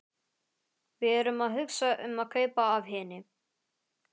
Við erum að hugsa um að kaupa af henni.